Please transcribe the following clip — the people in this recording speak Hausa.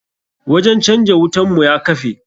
Wajen canja wutan mu ya kafe.